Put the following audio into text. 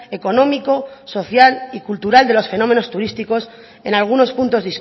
económico social y cultural de los fenómenos turísticos en algunos puntos